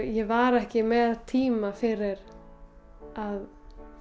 ég var ekki með tíma fyrir að